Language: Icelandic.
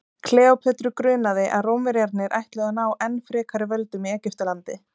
kleópötru grunaði að rómverjarnir ætluðu að ná enn frekari völdum í egyptalandi